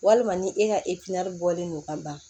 Walima ni e ka bɔlen don ka ban